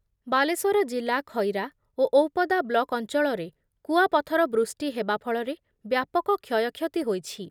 ବାଲେଶ୍ବର ଜିଲ୍ଲା ଖଇରା ଓ ଔପଦା ବ୍ଳକ୍ ଅଞ୍ଚଳରେ କୁଆପଥର ବୃଷ୍ଟି ହେବା ଫଳରେ ବ୍ୟାପକ କ୍ଷୟକ୍ଷତି ହୋଇଛି